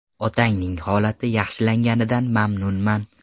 Otangning holati yaxshilanganidan mamnunman.